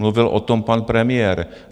Mluvil o tom pan premiér.